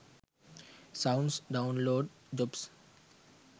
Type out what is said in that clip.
sounds download jobs